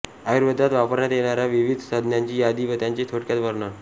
आयुर्वेदात वापरण्यात येणाऱ्या विविध संज्ञांची यादी व त्याचे थोडक्यात वर्णन